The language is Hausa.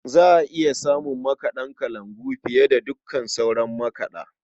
Za a iya samun makaɗa kalangu fiye da dukkan sauran makaɗa.